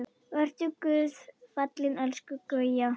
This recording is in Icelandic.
Vertu Guði falin elsku Gauja.